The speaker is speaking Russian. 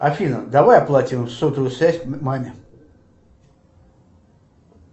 афина давай оплатим сотовую связь маме